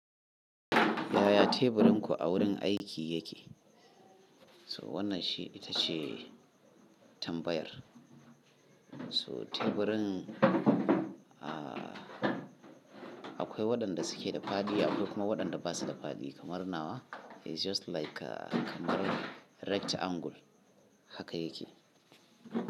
Yaya teburin ku a wurin aiki yake? To wannan shi ita ce tambayar. So teburin, a-akwai waɗanda suke da fadi, akwai kuma waɗanda ba su da fadi, kamar nawa. It's just like kamar right angle haka yake.